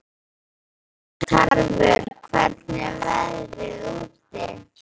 Tarfur, hvernig er veðrið úti?